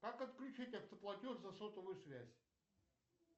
как отключить автоплатеж за сотовую связь